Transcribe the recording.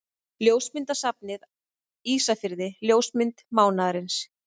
Ljósmyndasafnið Ísafirði Ljósmynd mánaðarins.